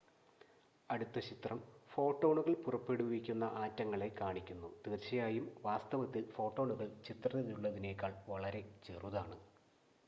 അടുത്ത ചിത്രം ഫോട്ടോണുകൾ പുറപ്പെടുവിക്കുന്ന ആറ്റങ്ങളെ കാണിക്കുന്നു തീർച്ചയായും വാസ്തവത്തിൽ ഫോട്ടോണുകൾ ചിത്രത്തിലുള്ളതിനേക്കാൾ വളരെ ചെറുതാണ്